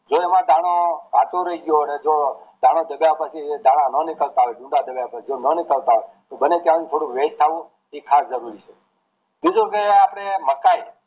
જો એમાં દાણો કાચો રય ગયો અને જો દાણો દબાવાથી દાણા ન નીકળતા હોય જુદા પડા છે જે ના નીકળતા હોય બને ત્યાં શુધી wait થવું એ ખાસ જરૂરી છે બીજું કે આપડે મકાઈ